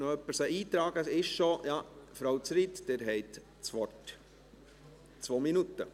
Grossrätin Zryd, Sie haben das Wort für zwei Minuten.